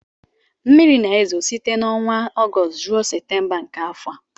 mmiri na-ezo site n'ọnwa Ọgọst ruo Septemba nke afọ a